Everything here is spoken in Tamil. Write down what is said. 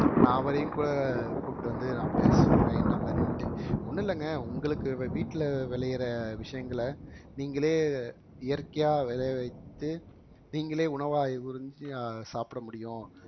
நான் அவரையும் கூட கூட்டிட்டு வந்து நான் பேச சொல்றேன் என்ன மாதிரின்னுட்டு ஒண்ணும் இல்லைங்க உங்களுக்கு வீட்ல விளையிற விஷயங்களை நீங்களே இயற்கையா விளைய வைத்து நீங்களே உணவா உறிஞ்சி அஹ் சாப்பிட முடியும்